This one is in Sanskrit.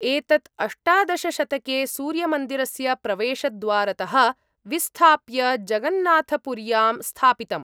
एतत् अष्टादशशतके सूर्यमन्दिरस्य प्रवेशद्वारतः विस्थाप्य जगन्नाथपुर्यां स्थापितम्।